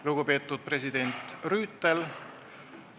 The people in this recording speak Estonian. Lugupeetud president Rüütel!